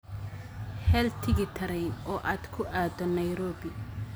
hel tigidh tareen oo aad ku aado nairobi